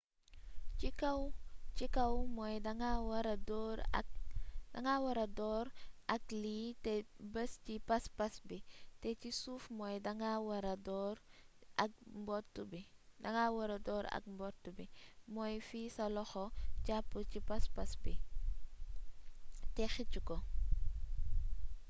ci kaw mooy danga wara door ak lii té bees ci paspas bi té ci suuf mooy danga wara door ak mbott bi mooy fi sa loxo japp ci paspas bi té xeec ko